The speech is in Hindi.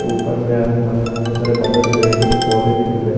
ऊपर में आसमान में बहोत सारे बादल दिख रहे हैं कुछ पौधे भी दिख रहे--